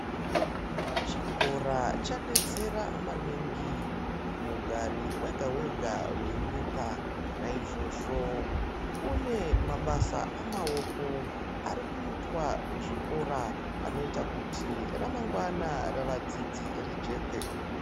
Chikora chadetsera maningi kumugari wega wega wenyika naizvozvo kune mabasa amaoko arikuitwa kuzvikora anoita kuti ramangwana ravadzidzi rijeke.